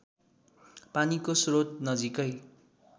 पानीको स्रोत नजिकै